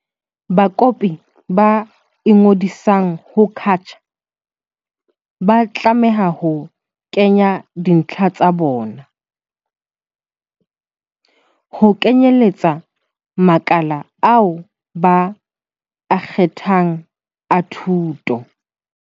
Bakopi ba ingodisang ho CACH ba tlameha ho kenya dintlha tsa bona, ho kenyeletsa makala ao ba a kgethang a thuto.